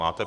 Máte.